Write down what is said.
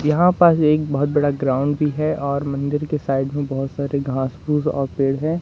यहां पास एक बहुत बड़ा ग्राउंड भी है और मंदिर की साइड में बहोत सारे घास फूंस और पेड़ हैं।